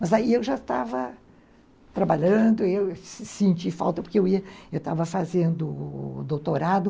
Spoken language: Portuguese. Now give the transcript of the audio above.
Mas aí eu já estava trabalhando, eu senti falta porque eu ia, eu estava fazendo doutorado.